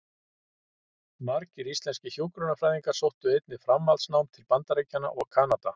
Margir íslenskir hjúkrunarfræðingar sóttu einnig framhaldsnám til Bandaríkjanna og Kanada.